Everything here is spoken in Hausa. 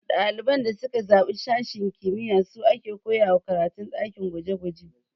Ɗaliban da suka zaɓi sashen kimiyya su a ke koyawa karatun ɗakin gwaje gwaje